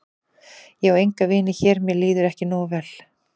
Ég á enga vini hér mér líður ekki nógu vel.